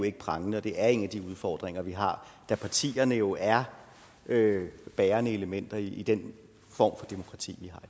ikke prangende det er en af de udfordringer vi har da partierne jo er bærende elementer i den form for demokrati